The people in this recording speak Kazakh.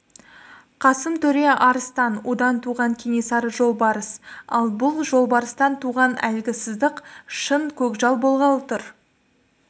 қасым төре арыстан одан туған кенесары жолбарыс ал бұл жолбарыстан туған әлгі сыздық шын көкжал болғалы тұр